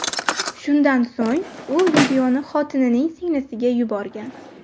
Shundan so‘ng, u videoni xotinining singlisiga yuborgan.